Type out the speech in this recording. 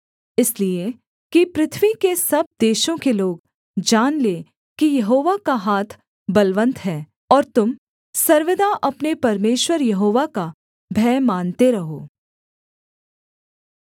इसलिए कि पृथ्वी के सब देशों के लोग जान लें कि यहोवा का हाथ बलवन्त है और तुम सर्वदा अपने परमेश्वर यहोवा का भय मानते रहो